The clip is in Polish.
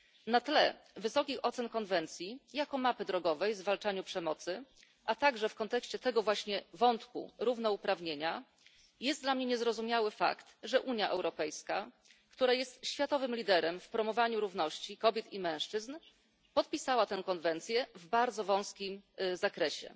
Na tle wysokich ocen konwencji jako mapy drogowej w zwalczaniu przemocy, a także w kontekście wątku równouprawnienia jest dla mnie niezrozumiały fakt, że Unia Europejska, która jest światowym liderem w promowaniu równości kobiet i mężczyzn, podpisała tę konwencję w bardzo wąskim zakresie.